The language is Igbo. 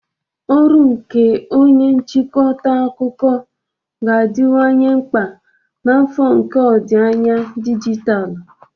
Ọrụ nke onye nchịkọta akụkọ ga-adịwanye mkpa na afọ nke ọdịnaya dijitalụ.